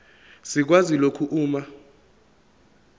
sikwazi lokhu uma